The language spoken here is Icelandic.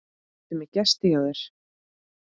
Ertu með gest hjá þér